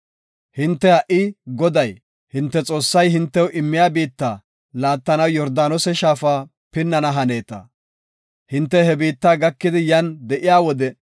Hinte ha77i Goday, hinte Xoossay hintew immiya biitta laattanaw Yordaanose shaafa pinnana haneeta. Hinte he biitta ekidi yan de7iya wode,